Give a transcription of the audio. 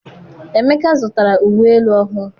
Emeka zụtara uwe elu ọhụụ.